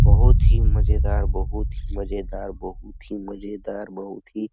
बहुत ही मजेदार बहुत ही मजेदार बहुत ही मजेदार बहुत ही --